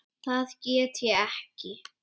Það get ég ekki